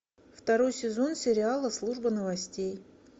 второй сезон сериала служба новостей